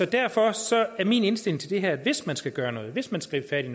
derfor er min indstilling til det her at hvis man skal gøre noget hvis man skal gribe